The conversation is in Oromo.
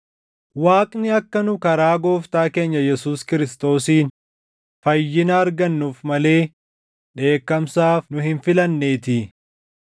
Waaqni akka nu karaa Gooftaa keenya Yesuus Kiristoosiin fayyina argannuuf malee dheekkamsaaf nu hin filanneetii.